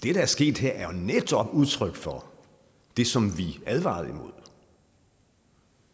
er sket her er jo netop udtryk for det som vi advarede imod